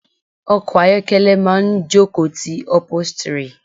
Ọkọ̀ ayokele máa ń ìjókòó ti upholstery.